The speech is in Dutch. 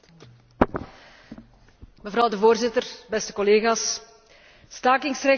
Mevrouw de Voorzitter, beste collega's, het stakingsrecht is een fundamenteel recht.